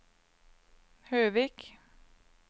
Høvik